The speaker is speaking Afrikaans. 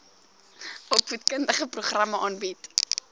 opvoedkundige programme aanbied